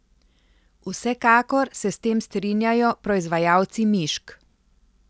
Vsekakor se s tem strinjajo proizvajalci mišk.